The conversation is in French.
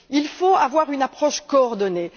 Il faut avoir une approche coordonnée.